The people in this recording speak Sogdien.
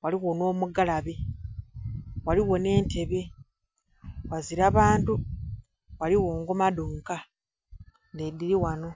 ghaligho nh'omugalabe, ghaligho nh'entebe. Ghazira bantu, ghaligho ngoma dhonka, nh'edili wano.